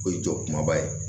O ye jɔ kumaba ye